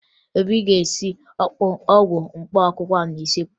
Obi ga-esi ọgwụ mkpaakwụkwọ ahụ n'useekwu